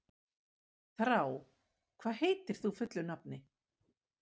Þrá, hvað heitir þú fullu nafni?